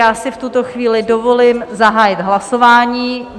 Já si v tuto chvíli dovolím zahájit hlasování.